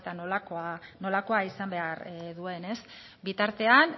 nolakoa izan behar duen bitartean